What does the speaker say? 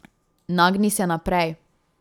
Nagni se naprej.